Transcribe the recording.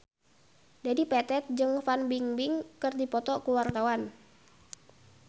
Dedi Petet jeung Fan Bingbing keur dipoto ku wartawan